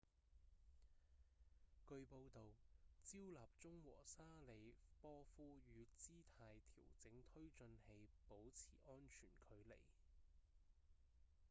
據報導焦立中和沙里波夫與姿態調整推進器保持安全距離